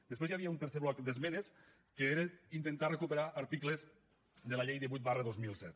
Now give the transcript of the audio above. després hi havia un tercer bloc d’esmenes que era intentar recuperar articles de la llei divuit dos mil set